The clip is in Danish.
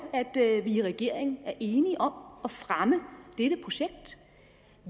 at vi i regeringen er enige om at fremme dette projekt